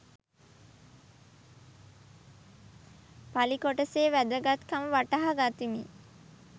පලි කොටසේ වැදගත්කම වටහා ගතිමි